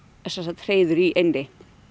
hreiður í eynni